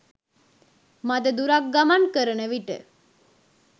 මද දුරක් ගමන් කරන විට